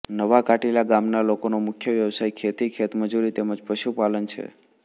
નવા ધાટીલા ગામના લોકોનો મુખ્ય વ્યવસાય ખેતી ખેતમજૂરી તેમ જ પશુપાલન છે